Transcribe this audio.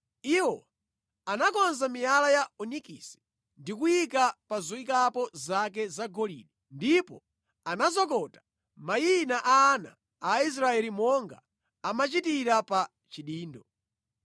Iwo anakonza miyala ya onikisi ndi kuyiika mu zoyikamo zake zagolide ndipo anazokota mayina a ana a Israeli monga amachitira pa chidindo.